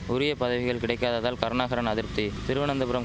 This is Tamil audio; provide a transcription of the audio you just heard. உரிய பதவிகள் கிடைக்காததால் கருணாகரன் அதிர்ப்தி திருவனந்தபுரம்